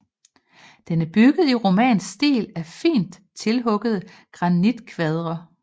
Den er bygget i romansk stil af fint tilhuggede granitkvadre